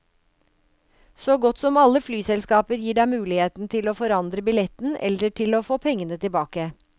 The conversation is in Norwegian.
Så godt som alle flyselskaper gir deg muligheten til å forandre billetten, eller til å få pengene tilbake.